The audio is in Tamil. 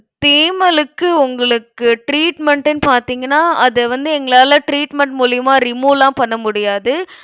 தேமலுக்கு, உங்களுக்கு treatment ன்னு பார்த்தீங்கன்னா அதை வந்து எங்களால treatment மூலியமா remove லாம் பண்ண முடியாது.